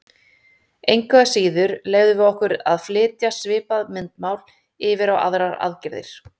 Engu að síður leyfum við okkur að flytja svipað myndmál yfir á aðrar aðgerðir.